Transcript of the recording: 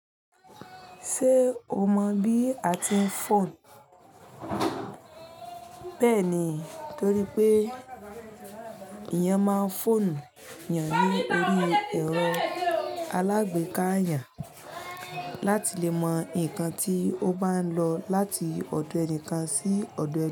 Ṣé o mọ bí a ti ń fọ̀nù? Bẹ́ẹ̀ni, torí pé ìyàn máa ń fọ̀nù yàn ní orí ẹ̀rọ alágbèéká yàn láti lè mọ nǹkan tí ó bá ń lọ láti ọ̀dọ̀ ẹnìkan sí ọ̀dọ̀